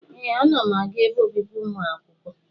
Ee, ana m aga ebe obibi ụmụ akwụkwọ.